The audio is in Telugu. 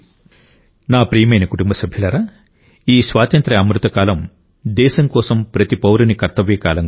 నా ప్రియమైన కుటుంబ సభ్యులారా ఈ స్వాతంత్య్ర అమృత కాలం దేశం కోసం ప్రతి పౌరుని కర్తవ్య కాలం కూడా